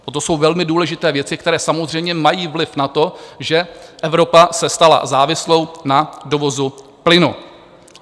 To jsou velmi důležité věci, které samozřejmě mají vliv na to, že Evropa se stala závislou na dovozu plynu.